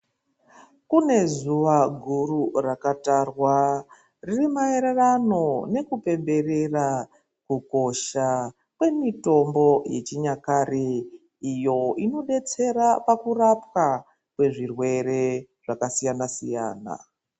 Kune zuwa guru rakatarwa riri maererano nekupemberera kukosha kwemitombo yechinyakare iyo inodetsera pakurapwa kwezvirwere zvakasiyana -siyana.